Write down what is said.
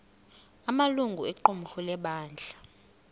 amalungu equmrhu lebandla